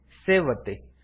save ಒತ್ತಿ